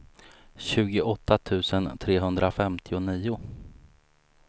tjugoåtta tusen trehundrafemtionio